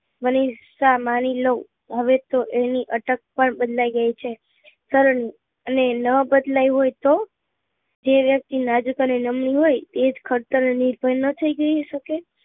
મનીષા માની લઉં હવે તો એની અટક પણ બદલાઈ ગઈ છે નરેન અને નાં બદલાઈ હોય તો જે વ્યક્તિ નાજુક અને નમણું હોય એ જ ખડતર અનીર્ભર નાં થઇ શકે